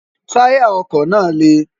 táyà ọkọ̀ náà le